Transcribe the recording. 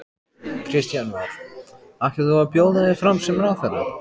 Kristján Már: Ætlar þú að bjóða þig fram sem ráðherra?